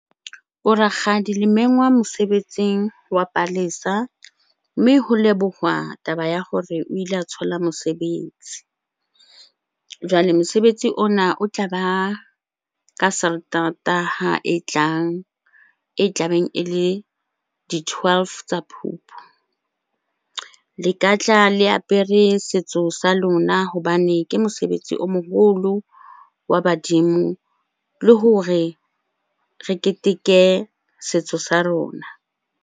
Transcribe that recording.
Bo rakgadi le mengwa mosebetsing wa Palesa, mme ho leboha taba ya hore o ile a thola mosebetsi. Jwale mosebetsi ona o tlaba ka sateretaha e tlang, e tlabeng e le di-twelve tsa Phupu. Le ka tla le apere setso sa lona hobane ke mosebetsi o moholo wa badimo le hore re keteke setso sa rona.